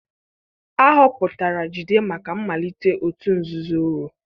Ahọpụtara Jide maka mmalite òtù nzuzo Oro